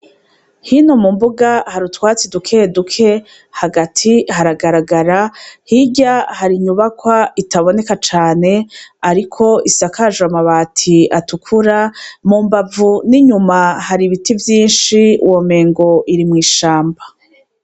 Hino mu mbuga hari utwatsi dukeduke ,hagati haragagara, hirya hari inyubakwa itaboneka cane ariko isakajwe amabati atukura , mu mbavu n'inyuma hari ibiti vyinshi womengo iri mw'ishamba.